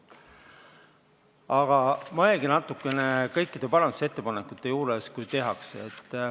Aga mõelge natukene kõikide parandusettepanekute juures, kui neid tehakse.